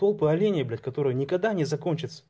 толпы оленей блять которые никогда не закончатся